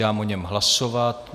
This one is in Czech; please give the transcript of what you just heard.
Dám o něm hlasovat.